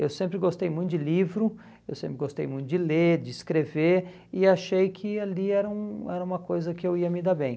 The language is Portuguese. Eu sempre gostei muito de livro, eu sempre gostei muito de ler, de escrever, e achei que ali era um era uma coisa que eu ia me dar bem.